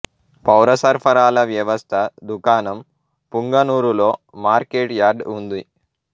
పౌర సరఫరాల వ్యవస్థ దుకాణం పుంగనూరులో మార్కెట్ యార్డ్ ఉంది